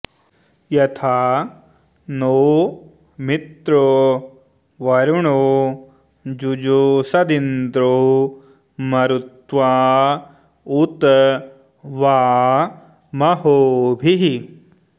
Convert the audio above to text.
यथा॑ नो मि॒त्रो वरु॑णो॒ जुजो॑ष॒दिन्द्रो॑ म॒रुत्वाँ॑ उ॒त वा॒ महो॑भिः